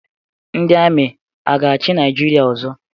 Ndi Amị aga-achi naijiria ọzọ?